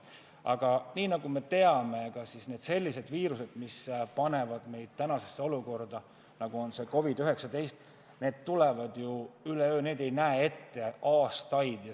Aga nagu me teame, sellised viirused, mis panevad meid tänasesse olukorda, tulevad üleöö, neid ei nähta aastaid ette.